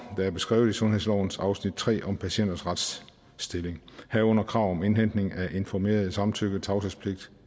der er beskrevet i sundhedslovens afsnit tre om patienters retsstilling herunder krav om indhentning af informeret samtykke tavshedspligt